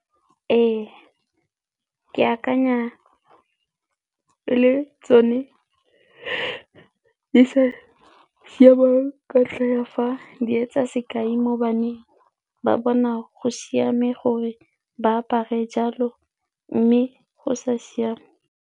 Ee, ke akanya e le tsone di sa siama ka ntlha ya fa di etsa sekai mo baneng ba bona go siame gore ba apare jalo mme go sa siama.